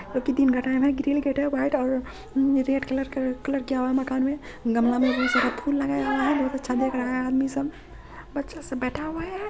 Grill gate है। White और हम रेड कलर का कलर किया हुआ है मकान मे। गमला मे बहुत सारा फूल लगाया हुआ है। बहुत अच्छा दिख रहा है आदमी सब। बच्चा सब बेठा हुआ है।